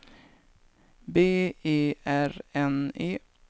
B E R N E